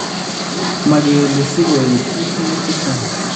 Makeele sikooyte, itiye chechang�